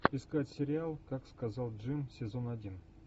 искать сериал как сказал джим сезон один